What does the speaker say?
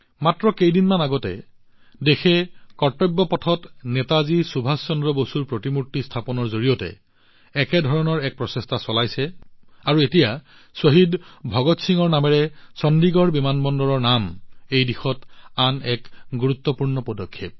মাত্ৰ কেইদিনমান আগতে দেশখনে কৰ্তব্য পথত নেতাজী সুভাষ চন্দ্ৰ বসুৰ প্ৰতিমূৰ্তি স্থাপনৰ জৰিয়তে একে ধৰণৰ প্ৰচেষ্টা চলাইছে আৰু এতিয়া শ্বহীদ ভগৎ সিঙৰ নামেৰে চণ্ডীগড় বিমানবন্দৰৰ নাম এই দিশত আন এক পদক্ষেপ